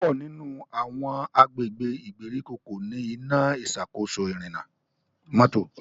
púpọ nínú àwọn agbègbè ìgbèríko ko ní Iná ìṣàkóso ìrìnnà mọ́tò.